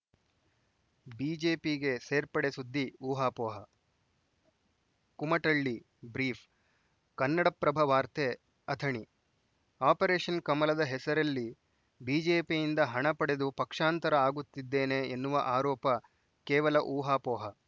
ಬಿಜೆಪಿಗೆ ಸೇರ್ಪಡೆ ಸುದ್ದಿ ಊಹಾಪೋಹ ಕುಮಟಳ್ಳಿ ಬ್ರೀಫ್‌ ಕನ್ನಡಪ್ರಭ ವಾರ್ತೆ ಅಥಣಿ ಆಪರೇಶನ್‌ ಕಮಲದ ಹೆಸರಲ್ಲಿ ಬಿಜೆಪಿಯಿಂದ ಹಣ ಪಡೆದು ಪಕ್ಷಾಂತರ ಆಗುತ್ತಿದ್ದೇನೆ ಎನ್ನುವ ಆರೋಪ ಕೇವಲ ಊಹಾಪೋಹ